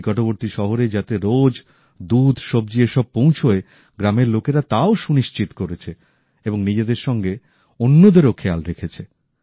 নিকটবর্তী শহরে যাতে রোজ দুধ সব্জি এসব পৌঁছয় গ্রামের লোকেরা তাও সুনিশ্চিত করেছে অর্থাৎ নিজেদের সঙ্গে অন্যদেরও খেয়াল রেখেছে